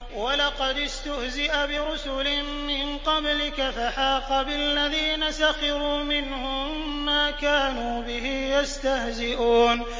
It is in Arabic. وَلَقَدِ اسْتُهْزِئَ بِرُسُلٍ مِّن قَبْلِكَ فَحَاقَ بِالَّذِينَ سَخِرُوا مِنْهُم مَّا كَانُوا بِهِ يَسْتَهْزِئُونَ